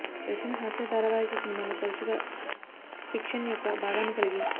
Russian హాస్య ధారావాహిక సినిమాలు తరచుగా ఫిక్షన్ యొక్క భాగాన్ని కలిగి